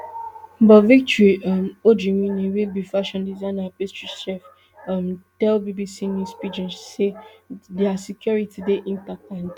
but victory um ojimini wey be fashion designer and pastry chef um tell bbc news pidgin say dia security dey intact and di